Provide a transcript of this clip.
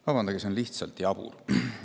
Vabandage, aga see on lihtsalt jabur!